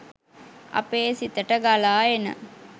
අපේ සිතට ගලා එන